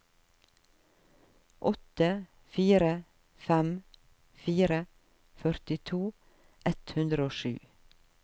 åtte fire fem fire førtito ett hundre og sju